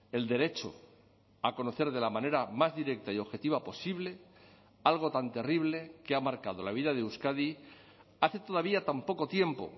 el derecho a conocer de la manera más directa y objetiva posible algo tan terrible que ha marcado la vida de euskadi hace todavía tan poco tiempo